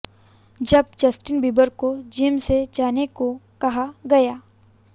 जब Justin Bieber को gym से जाने को कहा गया